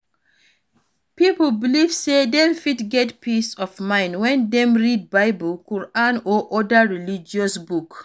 Pipo belive sey dem fit get peace of mind when dem read bible, quran or oda religious books